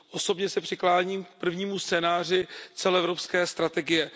Osobně se přikláním k prvnímu scénáři celoevropské strategie.